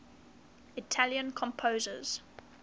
italian composers